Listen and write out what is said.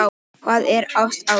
Hvað er ást